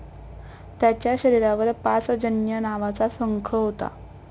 त्याच्या शरीरावर पांचजन्य नावाचा संख होता.